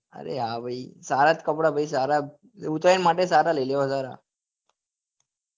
અરે હા ભાઈ સારા જ કપડા પછી સારા ઉતરાયણ માટે સારા લેવા સારા